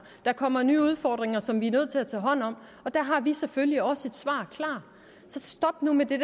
der kommer nye udfordringer som vi er nødt til at tage hånd om og der har vi selvfølgelig også et svar klar så stop nu med det